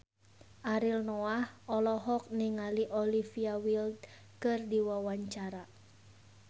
Ariel Noah olohok ningali Olivia Wilde keur diwawancara